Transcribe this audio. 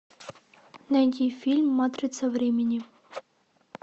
найди фильм матрица времени